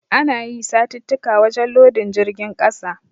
Ana yi satittika wajen lodin jirgin ƙasa.